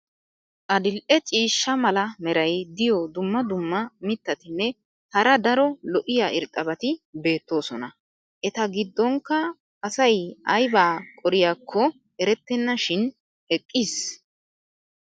Adil'e ciishsha mala meray diyo dumma dumma mitatinne hara daro lo'iya irxxabati beetoosona. eta gidonkka asay aybaa qoriyaakko eretenna shin eqqiis.